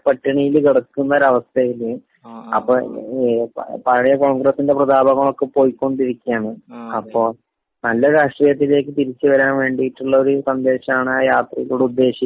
...കിടക്കുന്ന ഒരാവസ്ഥയില്അ...പ്പൊ പഴയ കോൺഗ്രസിന്റെ പ്രതാപങ്ങളൊക്കെ പൊയ്ക്കൊണ്ടിരിക്കുകയാണ്, അപ്പൊ നല്ല രാഷ്ട്രീയത്തിലേക്ക് തിരിച്ചുവരാൻ വേണ്ടീട്ടുള്ള ഒരു സന്ദേശമാണ് ആ യാത്രയിലൂടെ ഉദ്ദേശിക്കണത്.